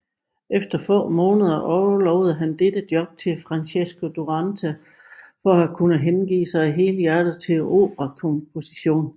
Efter få måneder overlod han dette job til Francesco Durante for at kunne hengive sig helhjertet til operakomposition